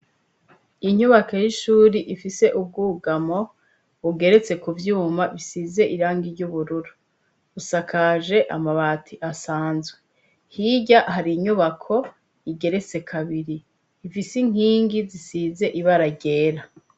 Inyubako y'ishuri ifise ubwugamo bugeretse ku vyuma bisize iranga iry' ubururu usakaje amabati asanzwe hirya hari inyubako igeretse kabiri ifise inkingi zisize ibaragera.